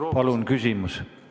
Palun küsimus!